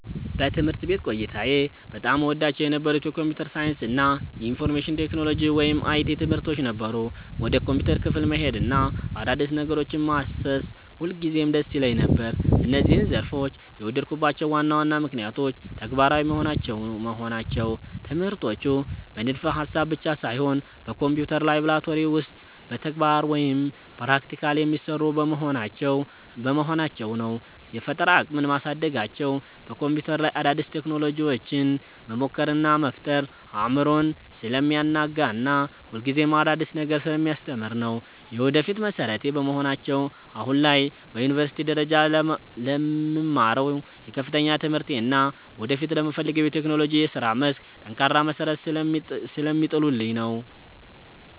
በትምህርት ቤት ቆይታዬ በጣም እወዳቸው የነበሩት የኮምፒውተር ሳይንስ እና የኢንፎርሜሽን ቴክኖሎጂ (IT) ትምህርቶች ነበሩ። ወደ ኮምፒውተር ክፍል መሄድና አዳዲስ ነገሮችን ማሰስ ሁልጊዜም ደስ ይለኝ ነበር። እነዚህን ዘርፎች የወደድኩባቸው ዋና ዋና ምክንያቶች፦ ተግባራዊ መሆናቸው፦ ትምህርቶቹ በንድፈ-ሐሳብ ብቻ ሳይሆን በኮምፒውተር ላብራቶሪ ውስጥ በተግባር (Practical) የሚሰሩ በመሆናቸው ነው። የፈጠራ አቅምን ማሳደጋቸው፦ በኮምፒውተር ላይ አዳዲስ ቴክኖሎጂዎችን መሞከር እና መፍጠር አእምሮን ስለሚያናጋና ሁልጊዜም አዲስ ነገር ስለሚያስተምር ነው። የወደፊት መሠረቴ በመሆናቸው፦ አሁን ላይ በዩኒቨርሲቲ ደረጃ ለምማረው የከፍተኛ ትምህርቴ እና ወደፊት ለምፈልገው የቴክኖሎጂ የሥራ መስክ ጠንካራ መሠረት ስለሚጥሉልኝ ነው።